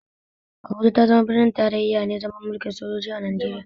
Abuja ta zama birnin tarayyane zamani mulkin sojoji a Najeriya.